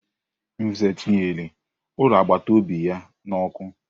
Nze tinyere ulo agbataobi a n'ọkụ.